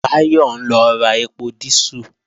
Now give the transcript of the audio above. Báyọ̀ ń lọ ra ẹpo dísù